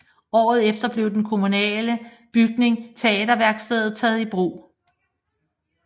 Året efter blev den kommunale bygning Teaterværkstedet taget i brug